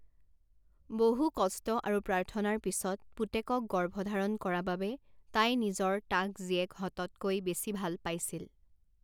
বহু কষ্ট আৰু প্ৰাৰ্থনাৰ পিছত পুতেকক গৰ্ভধাৰণ কৰা বাবে তাই নিজৰ তাক জীয়েকহততকৈ বেছি ভাল পাইছিল।